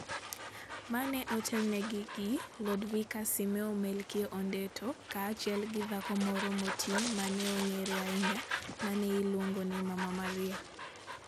Ma ne otelnegi gi Lodvikus Simeo Melkio Ondetto kaachiel gi dhako moro moti ma ne ong'ere ahinya ma ne iluongo ni Mama Maria.